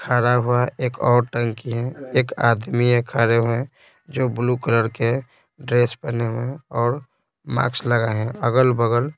खड़ा हुआ एक और टंकी है एक आदमी है खड़े हुए हैं जो ब्लू कलर के ड्रेस पहने हुए हैं और मार्क्स लगाए हैं अगल-बगल--